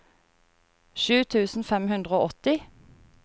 sju tusen fem hundre og åtti